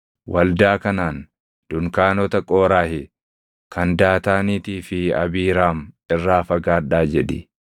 “Waldaa kanaan, ‘Dunkaanota Qooraahi, kan Daataaniitii fi Abiiraam irraa fagaadhaa’ jedhi.”